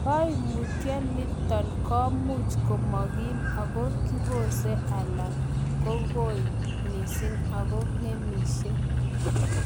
Koimutioni komuch komokim ako kibose alan kong'oi missing ago ng'emisie.